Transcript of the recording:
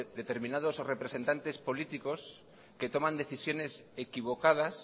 determinados representantes políticos que toman decisiones equivocadas